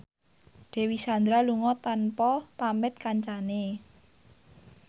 Dewi Sandra lunga tanpa pamit kancane